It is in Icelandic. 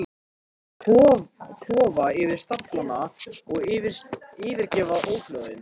Klofa yfir staflana og yfirgefa óhljóðin.